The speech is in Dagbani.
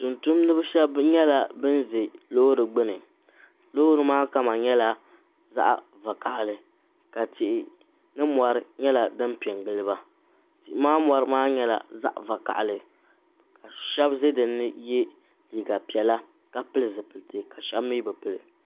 tuuntumdiba shɛba nyɛla bana ʒi loori gbuni loori maa kama nyɛla zaɣ’ vakahili ka tihi ni mɔri nyɛla din pe n-gili ba tihi maa mɔri maa nyɛla zaɣ’ vakahili shɛba ʒe din ni ye liiga piɛla ka pili zupilisi ka shɛba mi bi pili